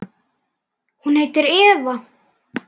Hún heitir Eva.